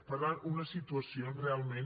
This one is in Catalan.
per tant una situació on realment